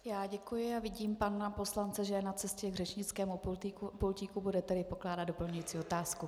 Já děkuji a vidím pana poslance, že je na cestě k řečnickému pultíku, bude tedy pokládat doplňující otázku.